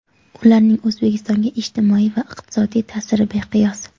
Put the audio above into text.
Ularning O‘zbekistonga ijtimoiy va iqtisodiy ta’siri beqiyos.